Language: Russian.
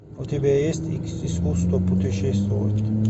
у тебя есть искусство путешествовать